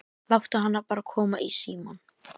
Láttu hana bara koma í símann.